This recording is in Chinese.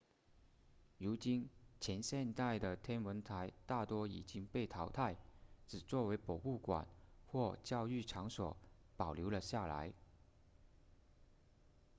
如今前现代的天文台大多已经被淘汰只作为博物馆或教育场所保留了下来